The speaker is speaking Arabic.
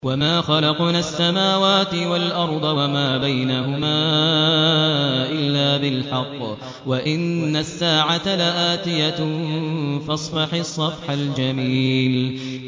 وَمَا خَلَقْنَا السَّمَاوَاتِ وَالْأَرْضَ وَمَا بَيْنَهُمَا إِلَّا بِالْحَقِّ ۗ وَإِنَّ السَّاعَةَ لَآتِيَةٌ ۖ فَاصْفَحِ الصَّفْحَ الْجَمِيلَ